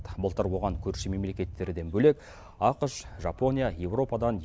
былтыр оған көрші мемлекеттерден бөлек ақш жапония еуропадан